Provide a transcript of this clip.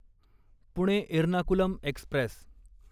Pune Ernakulam Express